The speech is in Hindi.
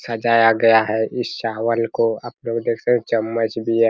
सजाया गया है इस चावल को आप लोग देख सकते हैं चम्मच भी है।